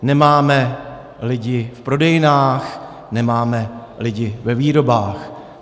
Nemáme lidi v prodejnách, nemáme lidi ve výrobách.